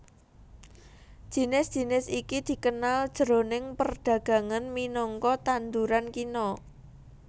Jinis jinis iki dikenal jroning perdagangan minangka tanduran kina